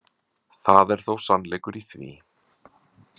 Það er þó sannleikur í því.